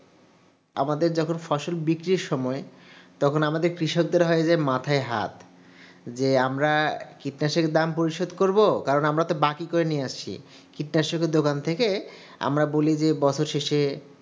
আমাদের যখন ফসল বিক্রির সময় তখন আমাদের কৃষকদের হয় যে মাথায় হাত যে আমরা কীটনাশকের দাম পরিশোধ করব কারণ আমরা তো বাকি করে নিয়ে আসি কীটনাশকের দোকান থেকে আমরা বলি যে বছর শেষে